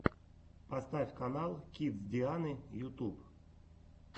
поставь канал кидс дианы ютюб